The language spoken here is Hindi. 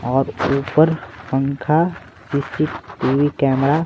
और ऊपर पंखा सीसीटीवी कैमरा --